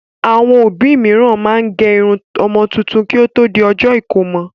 Àwọn òbí mìíràn máa ń gé irun ọmọ tuntun kí ó tó di ọjọ́ ìkómọ